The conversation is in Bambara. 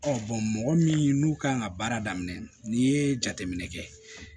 mɔgɔ min n'u kan ka baara daminɛ n'i ye jateminɛ kɛ